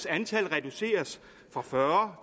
antal reduceres fra fyrre